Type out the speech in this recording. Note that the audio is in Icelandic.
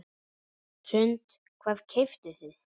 Hrund: Hvað keyptuð þið?